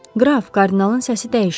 Qraf, kardinalın səsi dəyişdi.